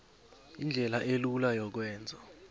indlela elula yokwenza